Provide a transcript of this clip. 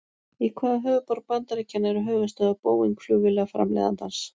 Í hvaða borg bandaríkjanna eru höfuðstöðvar Boeing flugvélaframleiðandans?